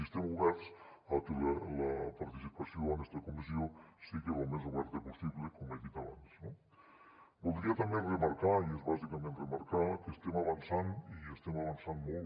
i estem oberts a que la participació en esta comissió siga lo més oberta possible com he dit abans no voldria també remarcar i és bàsicament remarcar que estem avançant i estem avançant molt